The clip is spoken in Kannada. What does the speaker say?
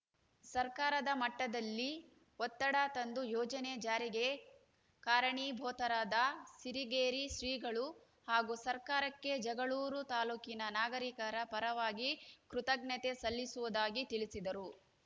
ಸರ್ಕಾರದ ಮಟ್ಟದಲ್ಲಿ ಒತ್ತಡ ತಂದು ಯೋಜನೆ ಜಾರಿಗೆ ಕಾರಣೀಭೂತರಾದ ಸಿರಿಗೆರೆ ಶ್ರೀಗಳು ಹಾಗೂ ಸರ್ಕಾರಕ್ಕೆ ಜಗಳೂರು ತಾಲೂಕಿನ ನಾಗರಿಕರ ಪರವಾಗಿ ಕೃತಜ್ಞತೆ ಸಲ್ಲಿಸುವುದಾಗಿ ತಿಳಿಸಿದರು